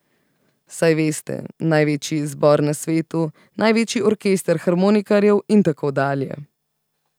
Saj veste, največji zbor na svetu, največji orkester harmonikarjev in tako dalje.